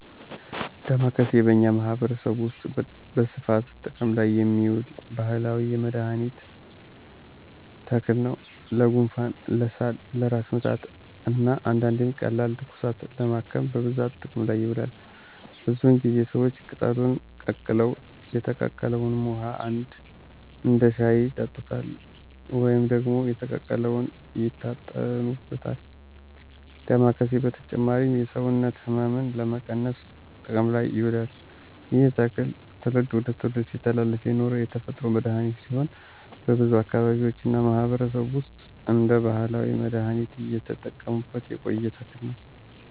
ደማከሴ በእኛ ማህበረሰብ ውስጥ በስፋት ጥቅም ላይ የሚውል ባህላዊ የመድኃኒት ተክል ነው። ለጉንፋን፣ ለሳል፣ ለራስ ምታት እና አንዳንዴም ቀላል ትኩሳትን ለማከም በብዛት ጥቅም ላይ ይውላል። ብዙውን ጊዜ ሰዎች ቅጠሉን ቀቅለው የተቀቀለውን ውሃ እንደ ሻይ ይጠጡታል ወይም ደግሞ የተቀቀለውን ይታጠኑበታል። ዳማኬሴ በተጨማሪም የሰውነት ሕመምን ለመቀነስ ጥቅም ላይ ይውላል። ይህ ተክል ከትውልድ ትውልድ ሲተላለፍ የኖረ የተፈጥሮ መድሀኒት ሲሆን በብዙ አካባቢዎች እና ማህበረሰብ ውስጥ እንደ ባህላዊ መድሃኒት እየተጠቀሙበት የቆየ ተክል ነው።